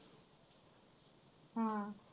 हां.